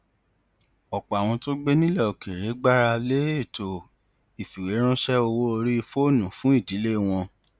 ọpọ àwọn tó gbé nílẹ òkèèrè gbára lé ètò ìfìwéránṣẹ owó orí fóònù fún ìdílé wọn